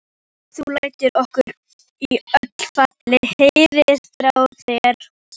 Þú lætur okkur í öllu falli heyra frá þér.